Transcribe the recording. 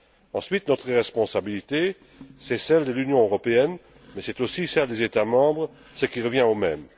Ensuite, notre responsabilité c'est celle de l'Union européenne, mais c'est aussi celle des États membres, ce qui revient au même.